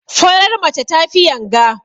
Farar mace tafi yanga.